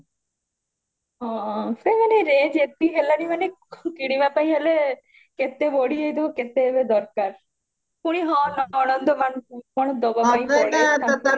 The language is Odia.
ହଁ ସେ ମାନେ range ଯେତିକି ହେଲାଣି ମାନେ କିଣିବା ପାଇଁ ହେଲେ କେତେ ବଢିଯାଇଥିବା କେତେ ଏବେ ଦରକାର ପୁଣି ହଁ ନଣନ୍ଦ ମାନଙ୍କ କଣ ଡବା ପାଇଁ ପଡେ